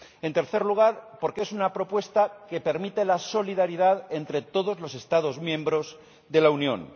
en tercer lugar, porque es una propuesta que permite la solidaridad entre todos los Estados miembros de la Unión